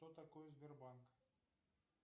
что такое сбербанк